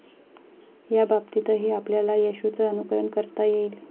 याबाबतीतही आपल्याला येशूचं अनुकरण करता येईल.